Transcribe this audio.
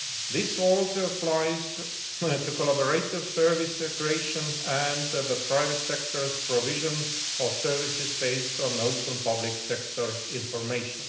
This also applies to collaborative service creation and the private sector's provision of services based on open public sector information.